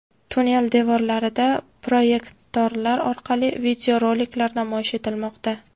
Tunnel devorlarida proyektorlar orqali videoroliklar namoyish etilmoqda.